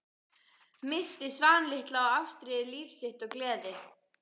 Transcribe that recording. Missti Svan litla og Ástríði, líf sitt og gleði.